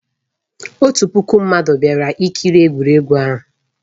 Ọtụtụ puku mmadụ bịara ikiri egwuregwu ahụ.